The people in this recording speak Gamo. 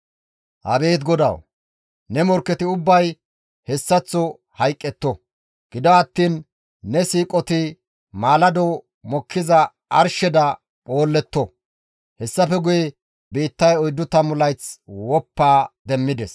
«Abeet GODAWU! Ne morkketi ubbay hessaththo hayqqetto! Gido attiin ne siiqoti maalado mokkiza arsheda phoolletto.» Hessafe guye biittay oyddu tammu layth woppa demmides.